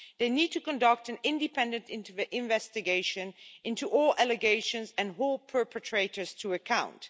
They need to conduct an independent investigation into all allegations and hold perpetrators to account.